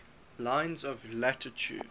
lines of latitude